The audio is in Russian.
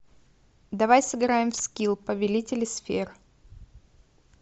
давай сыграем в скил повелители сфер